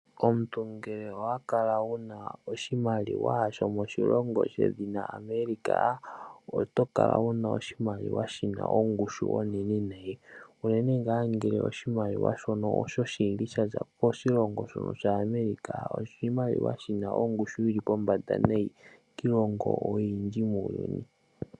Omuntu ngele owa kala wu na oshimaliwa shomoshilongo shedhina America, oto kala wu na oshimaliwa shi na ongushu onene nayi, unene ngaa ngele oshimaliwa shono oshoshili sha za koshilongo shono sha America, oshimaliwa shono shi na ongushu yi li pombanda nayi kiilongo oyindji muuyuni.